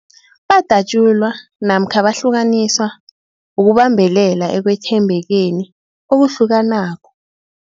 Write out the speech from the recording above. Badatjulwa namkha bahlukaniswa ukubambelela ekwethembekeni okuhlukanako.